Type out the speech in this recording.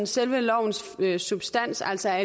selve lovens substans altså